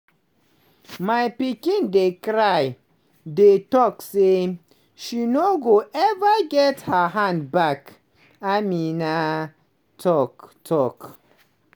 "my pikin dey cry dey tok say she no go ever get her hand back" ameena talk. talk.